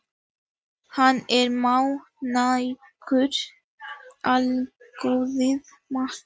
Hann er mannýgur hljóðaði Magga.